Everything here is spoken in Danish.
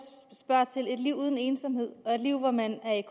spørger til et liv uden ensomhed og et liv hvor man er i